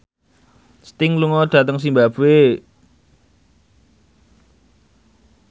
Sting lunga dhateng zimbabwe